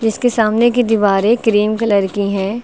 जिसके सामने की दीवारें क्रीम कलर की हैं।